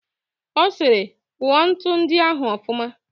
Ọ sịrị, kụọ ntu ndị ahụ ọfụma